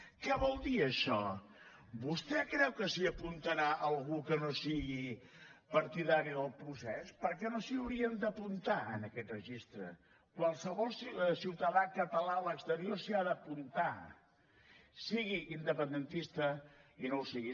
què vol dir això vostè creu que s’hi apuntarà algú que no sigui partidari del procés per què no s’hi haurien d’apuntar en aquest registre qualsevol ciutadà català a l’exterior s’hi ha d’apuntar sigui independentista o no ho sigui